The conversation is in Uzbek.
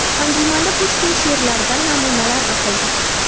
Anjumanda Pushkin she’rlaridan namunalar o‘qildi.